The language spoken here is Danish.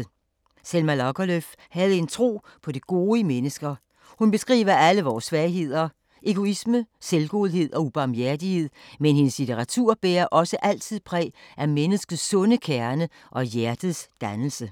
Selma Lagerlöf havde en tro på det gode i mennesker. Hun beskriver alle vore svagheder: Egoisme, selvgodhed og ubarmhjertighed, men hendes litteratur bærer også altid præg af menneskets sunde kerne og hjertets dannelse.